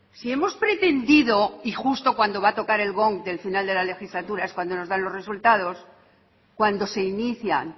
si hemos pretendido y justo cuando va a tocar el gong del final de la legislatura es cuando nos dan los resultados cuando se inician